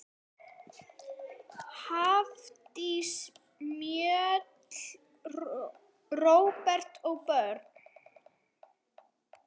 Hafdís Mjöll, Róbert og börn.